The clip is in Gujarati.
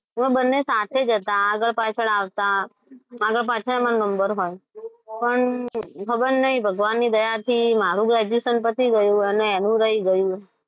અમે બંને સાથે જ હતા આગળ પાછળ આવતા આગળ પાછળ મારો number હોય પણ ખબર નહીં ભગવાનની દયાથી મારું graduation પતી ગયું પણ એનું રહી ગયું.